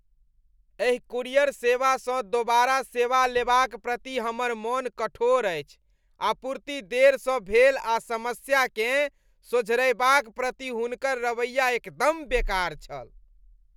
एहि कूरियर सेवासँ दोबारा सेवा लेबाक प्रति हमर मन कठोर अछि। आपूर्ति देरसँ भेल आ समस्याकेँ सोझरयबाक प्रति हुनकर रवैया एकदम बेकार छल।